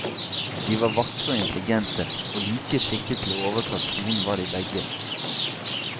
De var vakre og intelligente, og like skikket for å overta tronen var de begge.